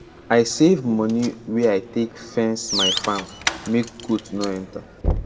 i save moni wey i take fence my farm make goat no enter